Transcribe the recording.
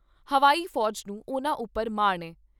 ਹਵਾਈ ਫੌਜ ਨੂੰ ਉਨ੍ਹਾਂ ਉਪਰ ਮਾਣ ਏ।